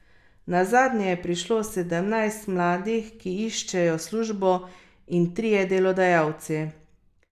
Nazadnje je prišlo sedemnajst mladih, ki iščejo službo, in trije delodajalci.